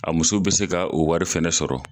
A muso be se ka u wari fɛnɛ sɔrɔ.